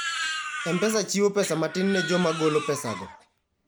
M-Pesa chiwo pesa matin ne joma golo pesago.